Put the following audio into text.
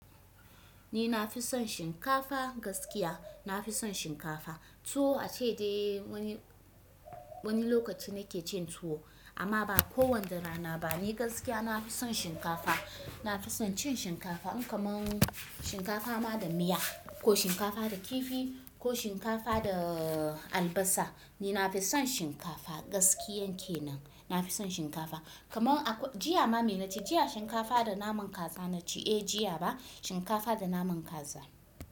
Ni nafi son shinkafa gaskiya nafi son shinkafa. Tuwo ace dai wani, wani lokaci nake cin tuwo amma ba kowanda rana ba. Ni gaskiya na fi son shinkafa. Nafi son cin shinkafa in kamar shinkafa ma da miya, ko shinkafa da kifi, ko shinkafa da albasa. Ni nafi son shinkafa gaskiyan kenan. Nafi son shinkafa. Kamar akwai jiya ma, me naci jiya shinkafa da naman kaza naci ae Eh, jiya ba shinkafa da naman kaza.